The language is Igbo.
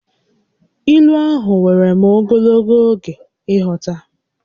Ílú ahụ wèrè m ogologo oge ịghọta